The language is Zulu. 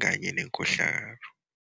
kanye nenkohlakalo.